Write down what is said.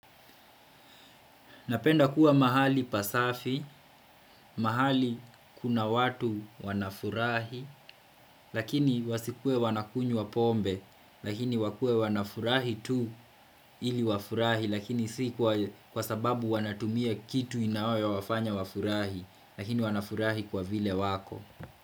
Napenda kuwa mahali pasafi, mahali kuna watu wanafurahi lakini wasikue wanakunywa pombe lakini wakuwe wanafurahi tu ili wafurahi lakini si kwa sababu wanatumia kitu inayo wafanya wafurahi lakini wanafurahi kwa vile wako.